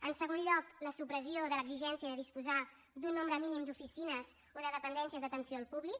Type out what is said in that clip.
en segon lloc la supressió de l’exigència de disposar d’un nombre mínim d’oficines o de dependències d’atenció al públic